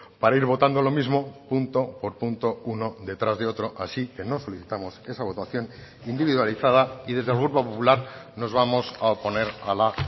para ir votando lo mismo punto por punto uno detrás de otro así que no solicitamos esa votación individualizada y desde el grupo popular nos vamos a oponer a la